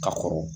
Ka kɔrɔ